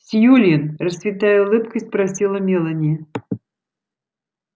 сьюлин расцветая улыбкой спросила мелани